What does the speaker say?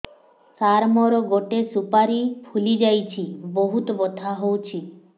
ସାର ମୋର ଗୋଟେ ସୁପାରୀ ଫୁଲିଯାଇଛି ବହୁତ ବଥା ହଉଛି